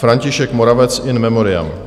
František Moravec, in memoriam.